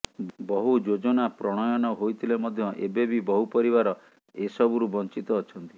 ବହୁ ଯୋଜନା ପ୍ରଣୟନ ହୋଇଥିଲେ ମଧ୍ୟ ଏବେବି ବହୁ ପରିବାର ଏସବୁରୁ ବଞ୍ଚିତ ଅଛନ୍ତି